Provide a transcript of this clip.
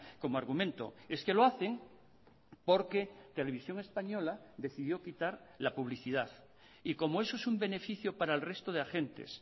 como argumento es que lo hacen porque televisión española decidió quitar la publicidad y como eso es un beneficio para el resto de agentes